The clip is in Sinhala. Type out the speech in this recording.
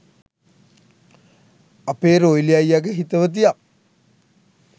අපේ රොයිලි අයියගෙ හිතවතියක්.